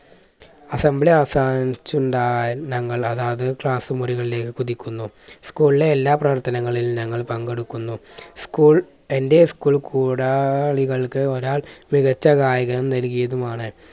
assambly അവസാനിചുണ്ടായ ഞങ്ങൾ അതാത് class മുറികളിലേക്ക് കുതിക്കുന്നു. school ലെ എല്ലാ പ്രവർത്തനങ്ങളിലും ഞങ്ങൾ പങ്കെടുക്കുന്നു. school എൻറെ school കൂടാളികൾക്ക് ഒരാൾ മികച്ച ഗായകൻ നൽകിയതുമാണ്.